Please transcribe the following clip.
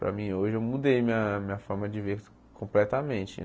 Para mim hoje eu mudei minha minha forma de ver completamente.